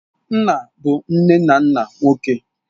Nna bụ nne na nna nwoke.